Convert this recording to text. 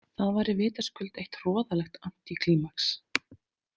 Það væri vitaskuld eitt hroðalegt antíklímax.